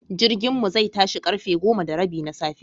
Jirginmu zai tashi karfe goma da rabi na safe.